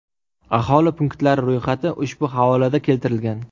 Aholi punktlari ro‘yxati ushbu havolada keltirilgan.